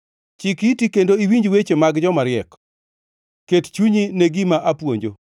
Chik iti kendo iwinj weche mag jomariek; ket chunyi ne gima apuonjo,